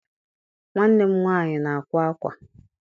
Nwanne m nwaanyị na-akwa akwa.